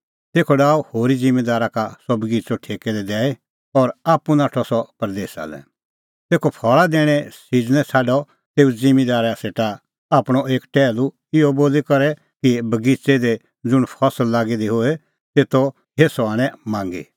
तेखअ फल़ा दैणें सिज़नै छ़ाडअ तेऊ ज़िम्मींदारा सेटा आपणअ एक टैहलू इहअ बोली कि अंगूरे बगिच़ै दी ज़ुंण फसल लागी दी होए तेतो हेस्सअ आणै मांगी